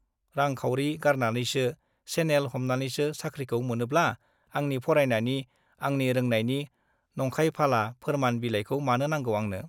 रां-खाउरि गारनानैसो, सेनेल हमनानैसो साख्रिखौ मोनोब्ला , आंनि फरायनायनि , आंनि रोंनायनि नंखायफाला फोरमान बिलाइखौ मानो नांगौ आंनो ?